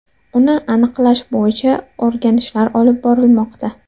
Uni aniqlash bo‘yicha o‘rganishlar olib borilmoqda.